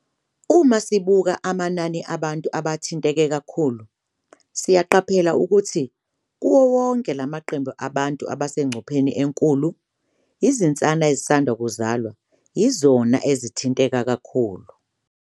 "Uma sibuka amanani abantu abathinteke kakhulu, siyaqaphela ukuthi kuwo wonke lamaqembu abantu abasengcupheni enkulu, izinsana ezisanda kuzalwa yizona ezithinteka kakhulu."